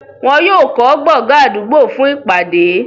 wọ́n yóò kọ́ gbọgán àdúgbò fún ìpàdé.